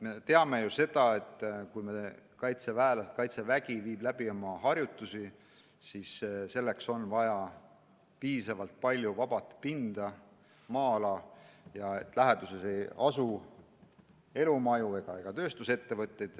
Me teame ju, et kui meie kaitseväelased viivad oma õppusi läbi, siis selleks on vaja piisavalt palju vaba pinda, suurt maa-ala, mille läheduses ei asu elumaju ega tööstusettevõtteid.